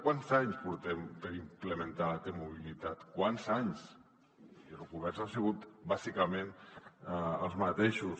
quants anys portem per implementar la t mobilitat quants anys i els governs han sigut bàsicament els mateixos